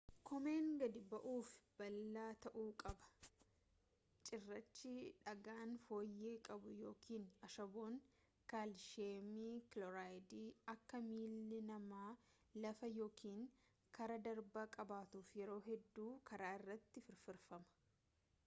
koomeen gadi bu’aaf fi bal’aa ta’uu qaba. cirraachi dhagaan fooyyee qabu yookaan ashaboon kaalshiyeem kiloorayidii akka miilli namaa lafa yookan karaa darbaa qabatuuf yeroo hedduu karaa irratti firfirfama